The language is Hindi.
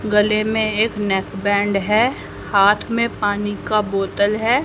गले में एक नेकबंद है। हाथ में पानी का बोतल है।